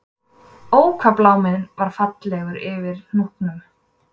Ó hvað bláminn var fallegur yfir Hnúknum